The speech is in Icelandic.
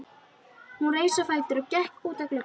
Hún reis á fætur og gekk út að glugga.